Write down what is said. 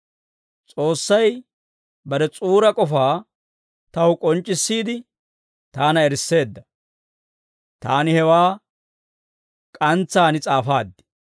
S'oossay bare S'uura k'ofaa taw k'onc'c'issiide, taana erisseedda; taani hewaa k'antsaan s'aafaad.